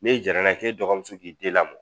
N'i jarala ye k'e dɔgɔmuso k'i den lamɔ